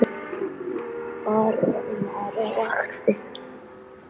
Þar var maður á vakt.